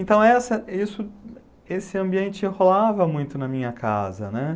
Então, essa esse esse ambiente rolava muito na minha casa, né.